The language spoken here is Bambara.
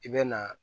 I bɛ na